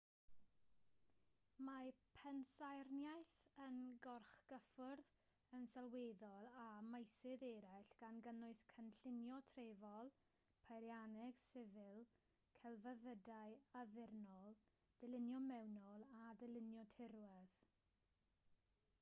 mae pensaernïaeth yn gorgyffwrdd yn sylweddol â meysydd eraill gan gynnwys cynllunio trefol peirianneg sifil celfyddydau addurnol dylunio mewnol a dylunio tirwedd